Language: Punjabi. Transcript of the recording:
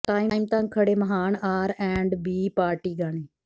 ਟਾਈਮ ਤਕ ਖੜ੍ਹੇ ਮਹਾਨ ਆਰ ਐੰਡ ਬੀ ਪਾਰਟੀ ਗਾਣੇ